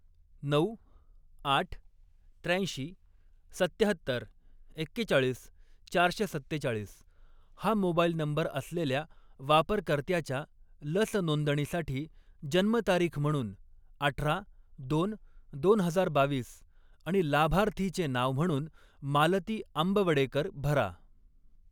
नऊ, आठ, त्र्याऐंशी, सत्त्याहत्तर, एक्केचाळीस, चारशे सत्तेचाळीस हा मोबाईल नंबर असलेल्या वापरकर्त्याच्या लस नोंदणीसाठी जन्मतारीख म्हणून अठरा दोन दोन हजार बावीस आणि लाभार्थीचे नाव म्हणून मालती आम्बवडेकर भरा.